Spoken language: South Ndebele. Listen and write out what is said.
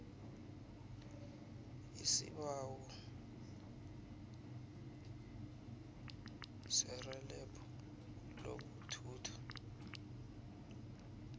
isibawo serhelebho lokuthutha